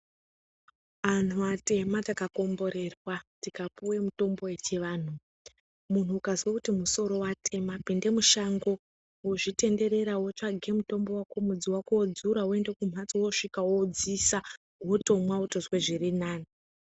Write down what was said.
Anhu atema takakomborerwa tikapiwe mishonga yechiantu munhu ukazwe kuti musoro watema pinda mushango wotenderera wotsavage mudzi wako wodzura woenda kumbatso wosvika woudziisa wotomwa wotonzwa zvirinani .